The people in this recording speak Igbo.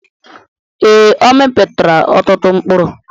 Ee, ọ mịpụtara ọtụtụ mkpụrụ.